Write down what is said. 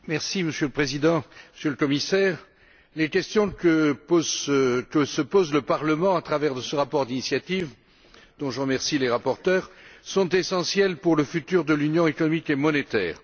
Monsieur le Président, Monsieur le Commissaire, les questions que se pose le Parlement à travers ce rapport d'initiative, dont je remercie les rapporteurs, sont essentielles pour le futur de l'union économique et monétaire.